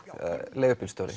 leigubílstjóri